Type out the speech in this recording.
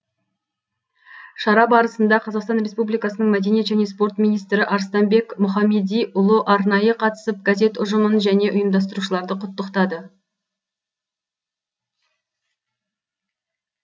шара барысында қазақстан республикасының мәдениет және спорт министрі арыстанбек мұхамедиұлы арнайы қатысып газет ұжымын және ұйымдастырушыларды құттықтады